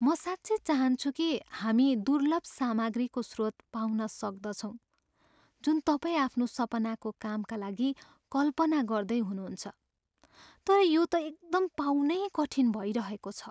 म साँच्चै चाहान्छु कि हामी दुर्लभ सामग्रीको स्रोत पाउन सक्दछौँ जुन तपाईँ आफ्नो सपनाको कामका लागि कल्पना गर्दै हुनुहुन्छ, तर यो त एकदम पाउनै कठिन भइरहेको छ।